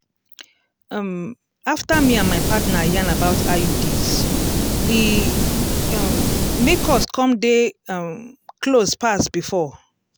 um after me and my partner yarn about iuds e um make us come dey um close pass before.